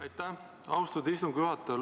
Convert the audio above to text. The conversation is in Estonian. Aitäh, austatud istungi juhataja!